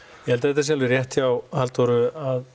ég held að þetta sé alveg rétt hjá Halldóru